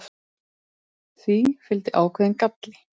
því fylgdi ákveðinn galli